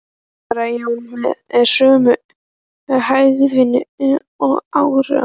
Nei, svaraði Jón með sömu hægðinni og áður.